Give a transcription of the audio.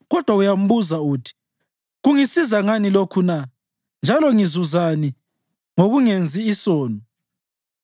Kodwa uyambuza uthi, ‘Kungisiza ngani lokhu na, njalo ngizuzani ngokungenzi isono?’